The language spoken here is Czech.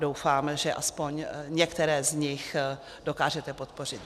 Doufám, že alespoň některé z nich dokážete podpořit.